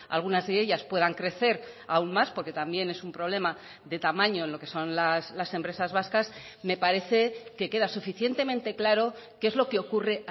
algunas de ellas puedan crecer aún más porque también es un problema de tamaño en lo que son las empresas vascas me parece que queda suficientemente claro qué es lo que ocurre